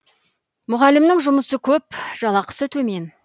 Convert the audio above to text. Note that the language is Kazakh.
мұғалімнің жұмысы көп жалақысы төмен